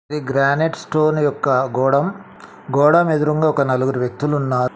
ఇది granite stone యొక్క గోడం గోడం ఎదురుంగా ఒక నలుగురు వ్యక్తులు ఉన్నా--